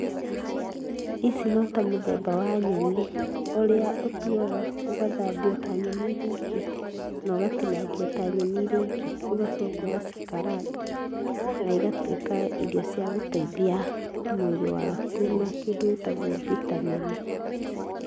Ici no ta mũthemba wa nyeni, ũrĩa ũtuaga ũgathambia o ta nyeni iria ingĩ na ũgatinangia ta nyeni iria ingĩ, ũgacoka ũgacikaranga na igatuĩka irio cia gũteithia mwĩrĩ waku na kĩndũ gĩtagwo vitameni.